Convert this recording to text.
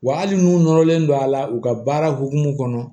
Wa hali n'u nɔrɔlen don a la u ka baara hukumu kɔnɔ